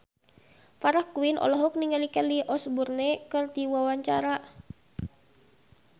Farah Quinn olohok ningali Kelly Osbourne keur diwawancara